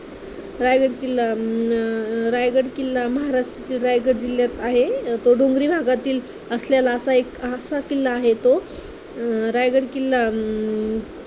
अं रायगड किल्ला अं रायगड किल्ला अं रायगड किल्ला महाराष्ट्राच्या रायगड जिल्ह्यात आहे, तो डोंगरी भागातील असलेला असा एक असा किल्ला आहे तो